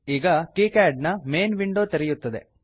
ಈಗ KiCad KiCad ನ main window ತೆರೆಯುತ್ತದೆ